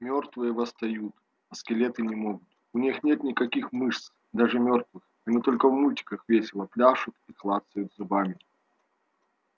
мёртвые восстают а скелеты не могут у них нет никаких мышц даже мёртвых они только в мультиках весело пляшут и клацают зубами